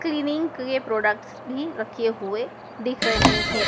Cleaning के products भी रखे हुए दिख रहे है।